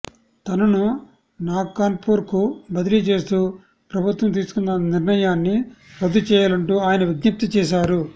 తనను నాగ్పూర్కు బదిలీ చేస్తూ ప్రభుత్వం తీసుకున్న నిర్ణయాన్ని రద్దు చేయాలంటూ ఆయన విజ్ఞప్తి చేశారు